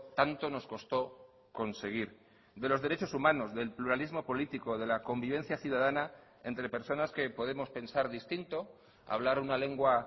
tanto nos costó conseguir de los derechos humanos del pluralismo político de la convivencia ciudadana entre personas que podemos pensar distinto hablar una lengua